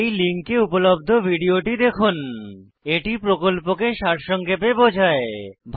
এই লিঙ্কে উপলব্ধ ভিডিওটি দেখুন httpspoken tutorialorgWhat is a Spoken tutorial এটি প্রকল্পকে সারসংক্ষেপে বোঝায়